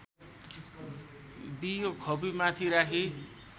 बियो खोपीमाथि राखी